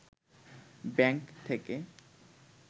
bank থেকে